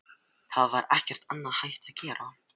Það var ekkert annað hægt að gera.